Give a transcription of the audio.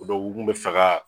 Ɔ dɔnku u kun bɛ fɛ k'a